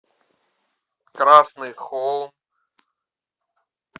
красный холм